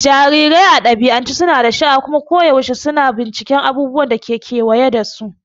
Jarirai a dabi'ance suna da sha'awa kuma koyaushe suna binciken abubuwan da ke kewaye da su.